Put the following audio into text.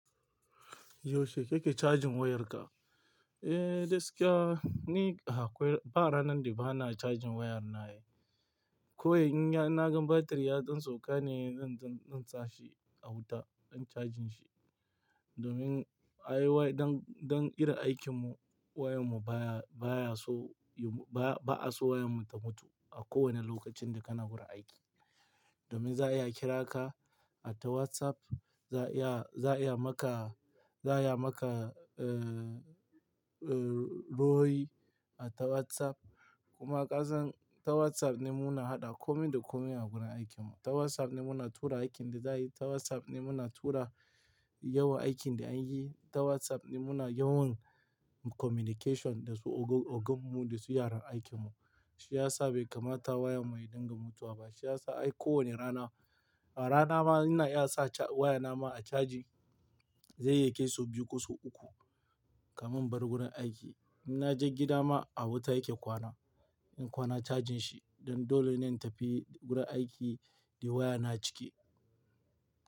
Yaushe kake cajin wayarka? Eh, gaskiya, ni akwai ba ranar da bana cajin wayar na ne. Ko in ya-- na gan batiri ya tsan tsoka ne, zan, zan, zan sa shi a wuta, zan cajin shi. Domin aiwai, don, don kira aikinmu wayar mu baya, baya so, ba a so wayar mu ta mutu a kowane lokacin da kana gurin aiki. Domin za a iya kira ka a ta WhatsApp, za iya, za iya maka, za ya maka, eh, eh, royi a ta WhatsApp. Kuma kasan ta WhatsApp ne muna haɗa komin da komin a gurin aikin mu. Ta WhatsApp ne muna tura aikin da za yi, ta WhatsApp ne muna tura yawa aikin da an yi, ta WhatsApp ne muna yawan communication da su ogan, ogan mu da su yaran aikin mu. Shi ya sa bai kamata waya mu ya dinga mutuwa ba. Shi ya sa ai kowane rana, a rana ma ina iya sa waya na ma a caji, zai iya ke so biyu ko so uku kamin bar gurin aiki. In naje gida ma a wuta yake kwana. In kwana cajin shi don dole ne in tafi gurin aiki da waya na cike.